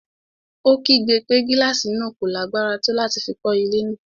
Ó kígbe pé gílàsì náà kò lágbára tó láti fi kọ́ ilé náà.